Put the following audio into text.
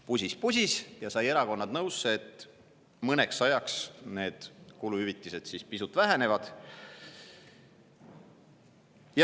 Pusis-pusis ja sai erakonnad nõusse, et mõneks ajaks need kuluhüvitised pisut vähenevad.